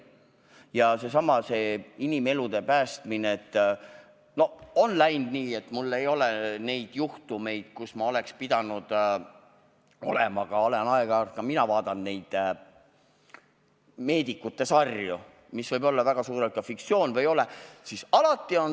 Ja seesama, see inimelude päästmine – on läinud nii, et mul ei ole neid juhtumeid olnud, aga olen aeg-ajalt vaadanud meedikute sarju, mis võib-olla väga suures osas on fiktsioon, aga võib-olla ka mitte.